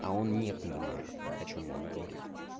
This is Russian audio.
а он не понимает о чем он говорит